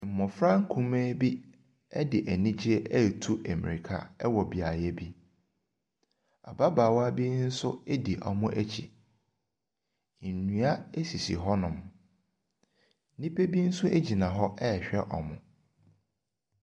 Mmɔfra nkumaa bi de anigyeɛ retu mmirika wɔ beaeɛ bi. Ababaawa bi nso di wɔn akyi. Nnua sisi hɔnom. Nnipa bi nso gyina hɔ rehwɛ wɔn.